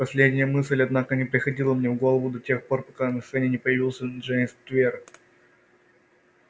последняя мысль однако не приходила мне в голову до тех пор пока на сцене не появился джеймс твер